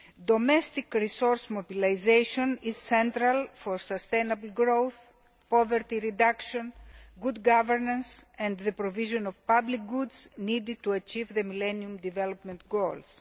Domestic resource mobilisation is central for sustainable growth, poverty reduction, good governance and the provision of public goods needed to achieve the Millennium Development Goals.